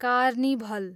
carnival